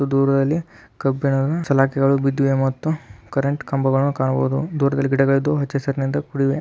ದೊರದಲ್ಲಿ ಕಬ್ಬಿಣ ಸಲಿಕೆಗಳು ಬಿದ್ದಿವೆ ಮತ್ತು ಕರೆಂಟ್ ಕಂಬಗಳು ಕಾಣಬಹುದು ದೊರದಲ್ಲಿ ಗಿಡಗಲಿದ್ದು ಹಚ್ಚಸರಿಂದ ಕೂಡಿದೆ.